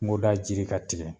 Kuŋoda jiri ka tigɛ